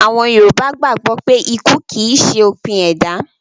Àwọn Yorùbá gbàgbó pé ikú kìí ṣe òpin ẹ̀dá